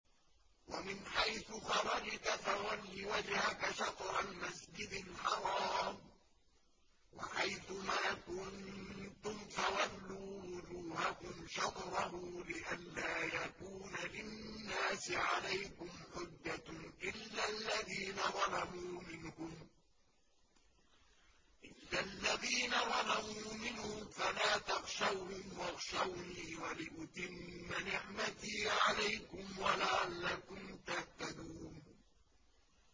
وَمِنْ حَيْثُ خَرَجْتَ فَوَلِّ وَجْهَكَ شَطْرَ الْمَسْجِدِ الْحَرَامِ ۚ وَحَيْثُ مَا كُنتُمْ فَوَلُّوا وُجُوهَكُمْ شَطْرَهُ لِئَلَّا يَكُونَ لِلنَّاسِ عَلَيْكُمْ حُجَّةٌ إِلَّا الَّذِينَ ظَلَمُوا مِنْهُمْ فَلَا تَخْشَوْهُمْ وَاخْشَوْنِي وَلِأُتِمَّ نِعْمَتِي عَلَيْكُمْ وَلَعَلَّكُمْ تَهْتَدُونَ